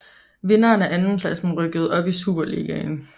Vinderen og andenpladsen rykkede op i Superligaen